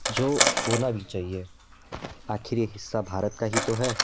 जो होना भी चाहिए आखिर यह हिस्सा भारत का ही तो है।